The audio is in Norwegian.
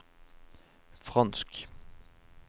fransk